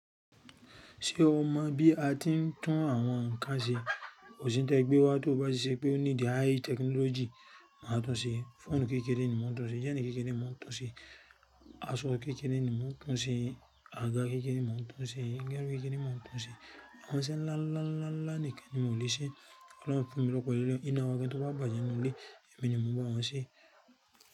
Ṣé o mọ̀ bí a ti ń tún àwọn nǹkan ṣe? Kò sí ń tẹ́ ẹ gbé wá to bá ṣe pé ó need high technology máa tún ṣe. Fóònù kékeré ni mo n túnṣe, jẹ́ẹ̀nì kékeré ni mo n túnṣe, aṣọ kékeré ni mo n túnṣe, àga kékeré ni mo ntún ṣe, géẹ́ni kékeré ni mo máa tún ṣe. Àwọn iseẹ ńlá ńlá ńlá ńlá nìkan ni mo lè ṣe. Ọ̀pọ̀lọpọ̀ fún mi ló kọ ilé. Iná wa kí n tó bá bàjẹ́ ń lé, èmi ni mo mú àwọn ṣe.